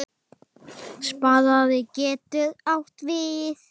Spaði getur átt við